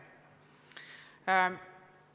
Neljas küsimus.